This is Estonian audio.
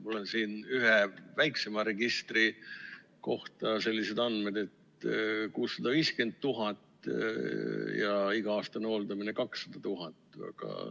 Mul on siin ühe väiksema registri kohta sellised andmed, et 650 000 eurot ja iga-aastane hooldamine 200 000 eurot.